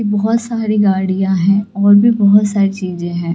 बहोत सारी गाड़ियां हैं और भी बहोत सारी चीजे हैं।